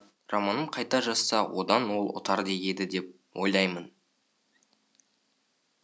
романын қайта жазса одан ол ұтар еді деп ойлаймын